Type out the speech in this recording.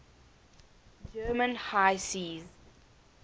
german high seas